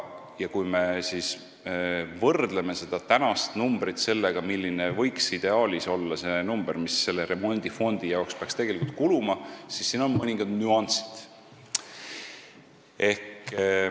Kui me võrdleme tänast summat sellega, milline võiks ideaalis olla see summa remondifondi jaoks, siis siin on mõningad nüansid.